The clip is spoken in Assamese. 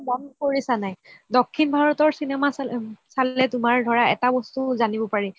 এটা কথা মন কৰিছা নে নাই দক্ষিণ ভাৰতৰ চিনেমা চালে তুমাৰ ধৰা এটা বস্তু জানিব পাৰি